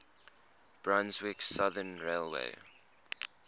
brunswick southern railway